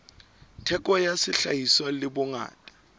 theko ya sehlahiswa le bongata